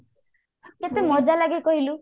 କେତେ ମଜାଲାଗେ କହିଲୁ